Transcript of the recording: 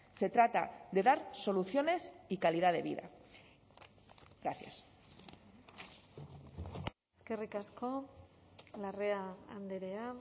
se trata de dar soluciones y calidad de vida gracias eskerrik asko larrea andrea